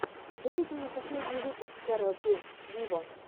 выведи мне последний выпуск кэрол джи виво